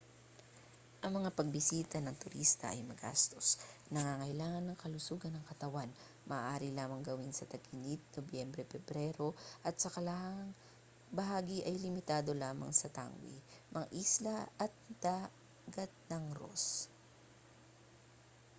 ang mga pagbisita ng turista ay magastos nangangailangan ng kalusugan ng katawan maaari lamang gawin sa tag-init nobyembre-pebrero at sa kalahang bahagi ay limitado lamang sa tangway mga isla at ang dagat ng ross